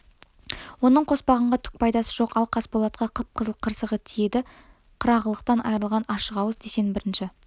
оның қоспанға түк пайдасы жоқ ал қасболатқа қып-қызыл қырсығы тиеді қырағылықтан айрылған ашық ауыз деген бірінші